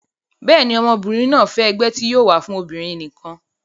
bẹ́ẹ̀ni, ọmọbìnrin náà fẹ́ ẹgbẹ́ tí yóò wà fún obìnrin nìkan